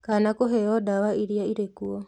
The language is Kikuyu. Kana kũheo ndawa iria irĩ kuo